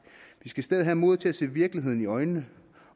vi skal i stedet have modet til at se virkeligheden i øjnene